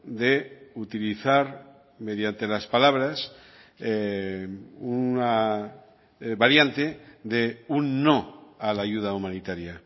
de utilizar mediante las palabras una variante de un no a la ayuda humanitaria